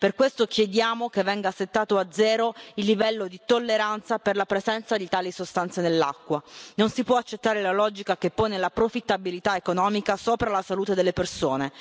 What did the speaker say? Per questo chiediamo che venga settato a zero il livello di tolleranza per la presenza di tali sostanze nell'acqua. Non si può accettare la logica che pone la profittabilità economica sopra la salute delle persone.